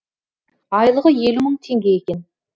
айлығы елу мың теңге екен